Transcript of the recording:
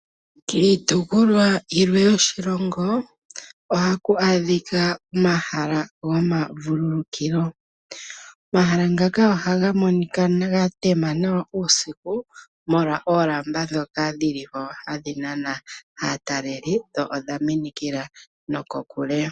Kiitopolwa yilwe yoshilongo oha ku adhika omahala goma vululukilo ,omahala ngaka oha gamonika gatema nawa uusiku molwa oolamba ndhoka dhilimo hadhi nana aataleli dho odha minikila nokokule.